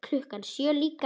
Klukkan sjö líka.